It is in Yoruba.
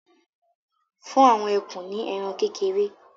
fún àwọn ekun ní ẹran kékeré